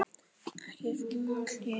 Ekki svona allt í einu.